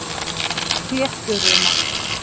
Flétturima